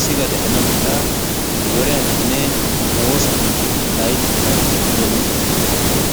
siga de'ana mala zoriyaninne woosan layttaa doomissoosona.